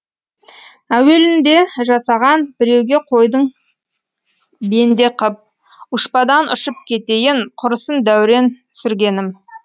әуелінде жасаған біреуге қойдың бенде қып ұшпадан ұшып кетейін құрысын дәурен сүргенім